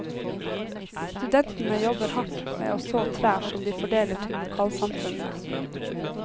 Studentene jobber hardt med å så trær som de fordeler til lokalsamfunnene.